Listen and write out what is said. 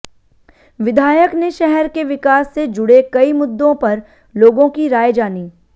विधायक ने शहर के विकास से जुड़े कई मुद्दों पर लोगों की राय जानी